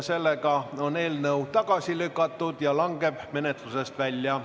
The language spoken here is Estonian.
Sellega on eelnõu tagasi lükatud ja langeb menetlusest välja.